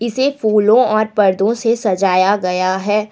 यह फूलों और पर्दों से सजाया गया है।